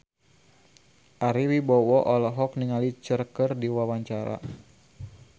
Ari Wibowo olohok ningali Cher keur diwawancara